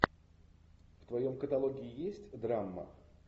в твоем каталоге есть драма